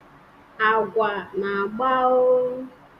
agwa na-agba o